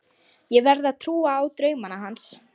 Ég verð að trúa á draumana hans.